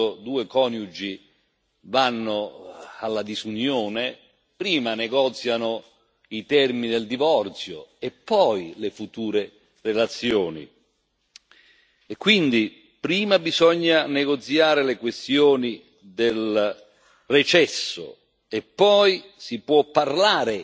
Quando due coniugi vanno alla disunione, prima negoziano i termini del divorzio e poi le future relazioni e quindi prima bisogna negoziare le questioni del recesso e poi si può parlare